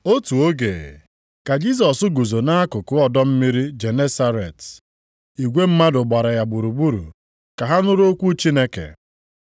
Otu oge, ka Jisọs guzo nʼakụkụ ọdọ mmiri Genesaret. + 5:1 Maọbụ, osimiri Galili Igwe mmadụ gbara ya gburugburu ka ha nụrụ okwu Chineke.